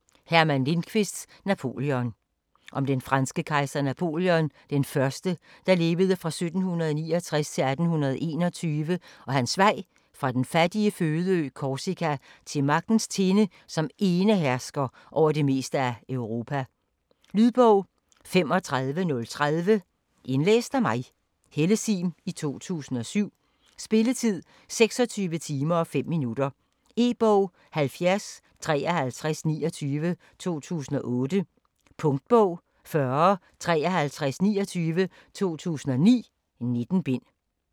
Lindqvist, Herman: Napoleon Om den franske kejser Napoléon I (1769-1821) og hans vej fra den fattige fødeø Korsika til magtens tinde som enehersker over det meste af Europa. Lydbog 35030 Indlæst af Helle Sihm, 2007. Spilletid: 26 timer, 5 minutter. E-bog 705329 2008. Punktbog 405329 2009. 19 bind.